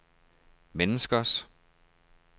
menneskers